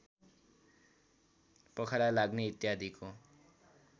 पखाला लाग्ने इत्यादिको